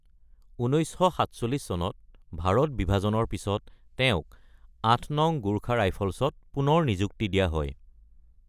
১৯৪৭ চনত ভাৰত বিভাজনৰ পিছত তেওঁক ৮ নং গোৰ্খা ৰাইফলছত পুনৰ নিযুক্তি দিয়া হয়।